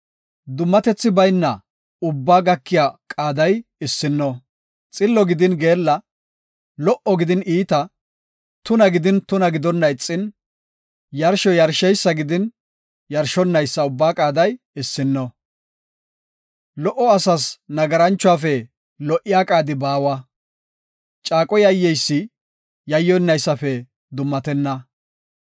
Dummatethi bayna ubbaa gakiya qaaday issino; xillo gidin geella, lo77o gidin iita, tuna gidin tuna gidonna ixin, yarsho yarsheysa gidin yarshonaysa ubbaa qaaday issino. Lo77o asas nagaranchuwafe lo77iya qaadi baawa; caaqo yayyeysi yayyonnaysafe dummatenna.